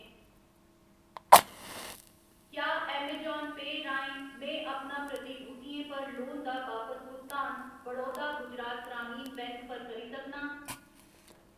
क्या अमेजान पेऽ राहें में अपना प्रतिभूतियें पर लोन दा बापस भुगतान बड़ौदा गुजरात ग्रामीण बैंक पर करी सकनां ?